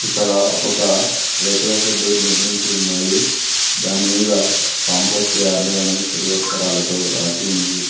ఇక్కడ ఒక రేకుల షెడ్డు నిర్మించి ఉన్నది దానిమీద కంపోస్ట్యార్డ్ అని తెలుగు అక్షరాలతో రాసి ఉన్నది.